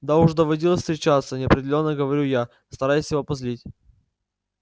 да уж доводилось встречаться неопределённо говорю я стараясь его позлить